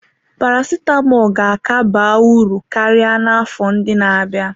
Paracetamol ga-aka ba uru karịa n'afọ ndị na-abịa.